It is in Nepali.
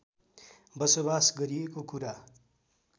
बसोबास गरिएको कुरा